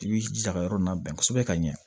I b'i jija ka yɔrɔ nabɛn kosɛbɛ ka ɲɛ